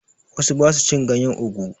Wasu ba su cin ganyen ogu.